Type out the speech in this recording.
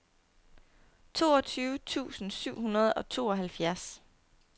toogtyve tusind syv hundrede og tooghalvfjerds